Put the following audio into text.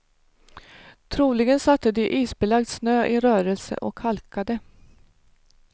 Troligen satte de isbelagd snö i rörelse och halkade.